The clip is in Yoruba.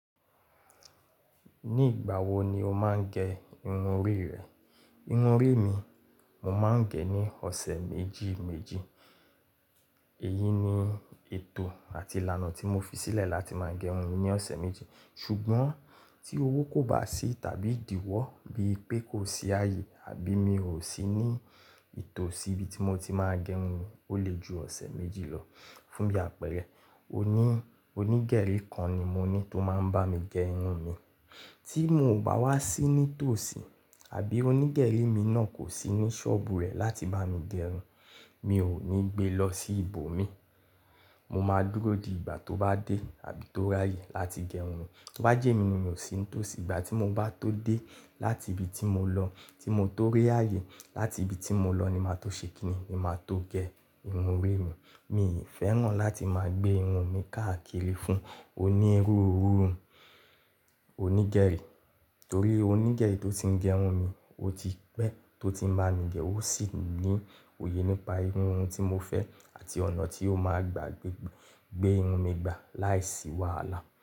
Ní ìgbà wo ni o máa ń gẹ irun orí rẹ? Irun orí mi, mo máa ń gẹ ní ọ̀sẹ̀ méjì méjì. Èyí ni ètò àti ìlànà tí mo fi sílẹ̀ láti máa gẹ irun mi ní ọ̀sẹ̀ méjì. Ṣùgbọ́n tí owó kò bá sí tàbí ìdíwọ́ bíi pé kò sí àyè àbí mi ò sí ní ìtòsí ibi tí mo ti máa gẹ irun mi, ó lè ju ọ̀sẹ̀ méjì lọ. Fún bí àpẹẹrẹ oní, onígerí kan ni mo ní tó máa ń bá mi gẹ irun mi. Tí mo ò bá wá sí ní tòsí àbí onígerí mi náà kò sí ní ṣọ́ọ̀bù rẹ̀ láti bá mi gẹ irun, mi ò ní gbe lọ sí ibo mi. Mo maa dúró di ìgbà tó ba de àbí to r'áyè lati ge irun mi bá jẹ́ mi ni n mò sí ní tòsí ìgbà tí mo bá tó dé láti ibi tí mo lọ, tí mo tó ré àyè láti ibi tí mo lọ ni màá tó ṣe kinni, ni màá tó gẹ irun orí mi. Mi i fẹ́ràn láti máa gbé irun mi káàkiri fún onírúurú onígerí torí onígerí tó ti ń gẹ irun mi, ó ti pẹ́ tó ti ń bá mi gẹ ó sì ní òye nípa irú irun tí mo fẹ́ àti ọ̀nà tí ó máa gbà gbé, gbé irun mi gbà láìsí wàhálà.